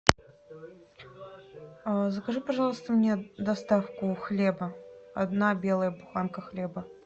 закажи пожалуйста мне доставку хлеба одна белая буханка хлеба